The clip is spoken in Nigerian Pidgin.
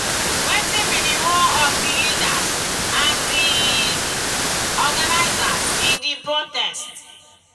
wetin be di role of di leaders and di organizers in di protest?